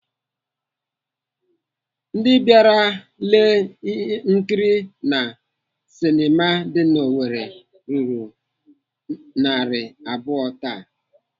Ndị bịara lee nkiri na sinema dị n'Owerri ruru narị abụọ taa.